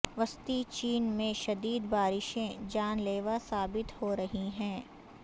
وسطی چین میں شدید بارشیں جان لیوا ثابت ہو رہی ہیں